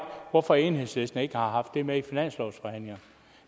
hvorfor enhedslisten ikke har haft det med i finanslovsforhandlingerne